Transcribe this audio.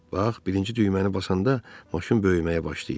Bax, birinci düyməni basanda maşın böyüməyə başlayır.